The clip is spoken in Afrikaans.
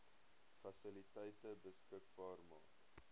fasiliteite beskikbaar maak